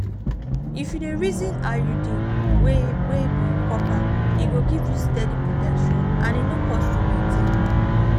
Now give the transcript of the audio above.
if you dey reason iud wey wey be copper e go give you steady protection and e no cost to maintain.